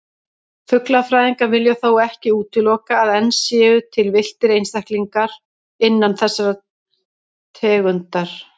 Fuglafræðingar vilja þó ekki útilokað að enn séu til villtir einstaklingar þessarar tegundar.